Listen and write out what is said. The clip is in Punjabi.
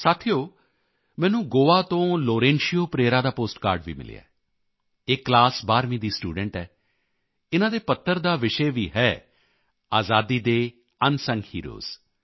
ਸਾਥੀਓ ਮੈਨੂੰ ਗੋਆ ਤੋਂ ਲੋਰੇਂਸ਼ੀਓ ਪਰੇਰਾ ਦਾ ਪੋਸਟਕਾਰਡ ਵੀ ਮਿਲਿਆ ਹੈ ਇਹ ਕਲਾਸ 12ਵੀਂ ਦੀ ਸਟੂਡੈਂਟ ਹੈ ਇਨ੍ਹਾਂ ਦੇ ਪੱਤਰ ਦਾ ਵੀ ਵਿਸ਼ੇ ਹੈ ਆਜ਼ਾਦੀ ਦੇ ਅਨਸੰਗ ਹੀਰੋਜ਼